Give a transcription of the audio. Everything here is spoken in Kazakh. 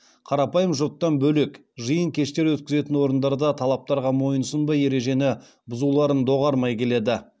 қарапайым жұрттан бөлек жиын кештер өткізетін орындар да талаптарға мойынсұнбай ережені бұзуларын доғармай келеді